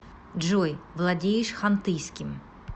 джой владеешь хантыйским